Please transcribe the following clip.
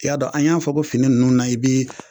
Y'a dɔn an y'a fɔ fini ninnu na i bi